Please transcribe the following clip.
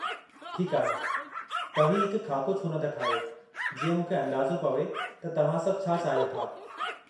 ठीकु आहे, तव्हीं हिकु ख़ाको छो नथा ठाहियो जीअं मूंखे अंदाज़ो पवे त तव्हां सभु छा चाहियो था।